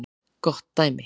Gott dæmi